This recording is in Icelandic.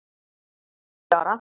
Hann er tíu ára!